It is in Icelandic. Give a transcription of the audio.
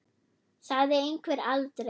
Sagði einhver aldrei?